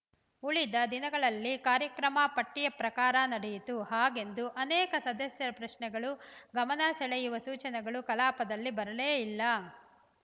ಉಳಿದ ದಿನಗಳಲ್ಲಿ ಕಾರ್ಯಕ್ರಮ ಪಟ್ಟಿಯ ಪ್ರಕಾರ ನಡೆಯಿತು ಹಾಗೆಂದು ಅನೇಕ ಸದಸ್ಯರ ಪ್ರಶ್ನೆಗಳು ಗಮನ ಸೆಳೆಯುವ ಸೂಚನೆಗಳು ಕಲಾಪದಲ್ಲಿ ಬರಲೇ ಇಲ್ಲ